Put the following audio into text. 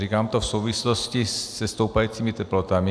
Říkám to v souvislosti se stoupajícími teplotami.